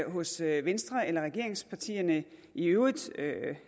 hos venstre eller regeringspartierne i øvrigt